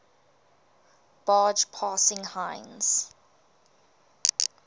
barge passing heinz